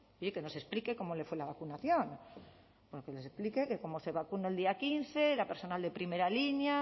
oye que nos explique cómo le fue la vacunación que nos explique que como se vacunó el día quince era personal de primera línea